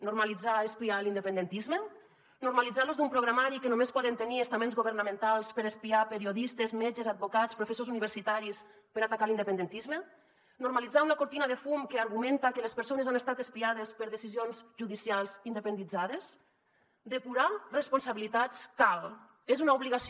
normalitzar espiar l’independentisme normalitzar l’ús d’un programari que només poden tenir estaments governamentals per espiar periodistes metges advocats professors universitaris per atacar l’independentisme normalitzar una cortina de fum que argumenta que les persones han estat espiades per decisions judicials independitzades depurar responsabilitats cal és una obligació